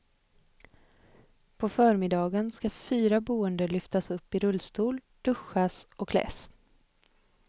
På förmiddagen ska fyra boende lyftas upp i rullstol, duschas och kläs.